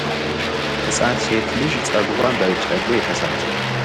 ህጻን ሴት ልጅ ጸጉርዋን በጨሌ ተሰርታ።